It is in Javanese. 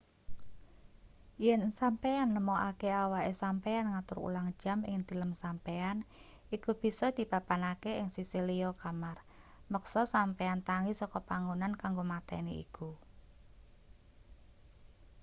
yen sampeyan nemokake awake sampeyan ngatur ulang jam ing tilem sampeyan iku bisa dipapanake ing sisih liya kamar meksa sampeyan tangi saka panggonan kanggo mateni iku